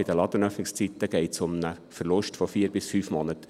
Bei den Ladenöffnungszeiten geht es um einen Verlust von vier bis fünf Monaten.